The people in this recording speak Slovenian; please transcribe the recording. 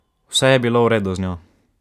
Vse je bilo v redu z njo.